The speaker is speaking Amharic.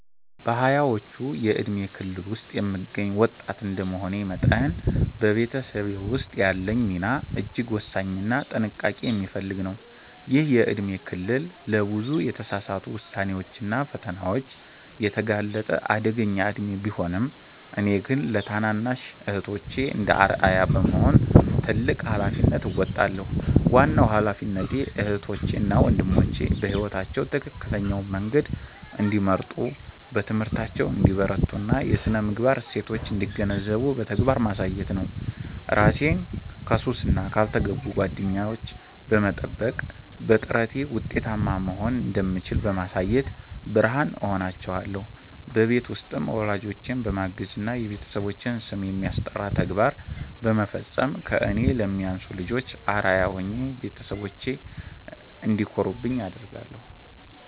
በሃያዎቹ የእድሜ ክልል ውስጥ የምገኝ ወጣት እንደመሆኔ መጠን፤ በቤተሰቤ ውስጥ ያለኝ ሚና እጅግ ወሳኝና ጥንቃቄ የሚፈልግ ነው። ይህ የእድሜ ክልል ለብዙ የተሳሳቱ ውሳኔዎችና ፈተናዎች የተጋለጠ አደገኛ እድሜ ቢሆንም፤ እኔ ግን ለታናናሽ እህቶቼ እንደ አርአያ በመሆን ትልቅ ኃላፊነት እወጣለሁ። ዋናው ኃላፊነቴ እህቶቼ እና ወንድሞቼ በሕይወታቸው ትክክለኛውን መንገድ እንዲመርጡ፣ በትምህርታቸው እንዲበረቱና የሥነ-ምግባር እሴቶችን እንዲገነዘቡ በተግባር ማሳየት ነው። እራሴን ከሱስና ካልተገቡ ጓደኝነት በመጠበቅ፤ በጥረቴ ውጤታማ መሆን እንደምችል በማሳየት ብርሃን እሆናቸዋለሁ። በቤት ውስጥም ወላጆቼን በማገዝና የቤተሰባችንን ስም የሚያስጠራ ተግባር በመፈጸም ከእኔ ለሚያንሱ ልጆች አርአያ ሆኜ ቤተሰቦቼ እንዲኮሩብኝ አደርጋለሁ።